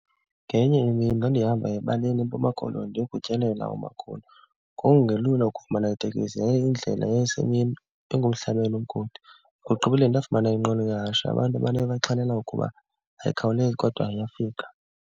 Ngenye imini ndandihamba ebaleni eMpuma Koloni ndiye kutyelela umakhulu. Kwakungelula ukufumana itekisi yaye indlela yayisemini, ingumhlabeni okude. Ekugqibeleni ndafumana inqwelo yehashe. Abantu abayixhalelayo ukuba ayikhawulezi kodwa iyafika.